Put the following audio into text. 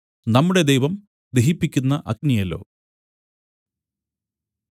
നമ്മുടെ ദൈവം ദഹിപ്പിക്കുന്ന അഗ്നിയല്ലോ